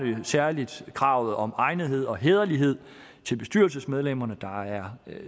det særlig kravet om egnethed og hæderlighed til bestyrelsesmedlemmerne der er